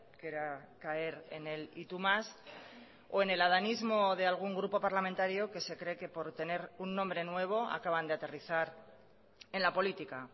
que era caer en el y tú más o en el adanismo de algún grupo parlamentario que se cree que por tener un nombre nuevo acaban de aterrizar en la política